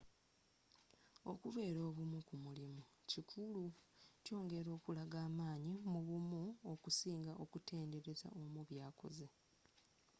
okubeera obumu ku mulimu kikulu kyongera okulaga amaanyi mu bumu okusinga okutenderaza omu byakoze